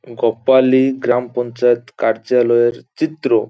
কপালী গ্রাম পঞ্চায়েত কার্যালয়ের চিত্র।